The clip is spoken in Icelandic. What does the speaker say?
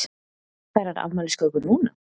Fær hann afmælisköku núna?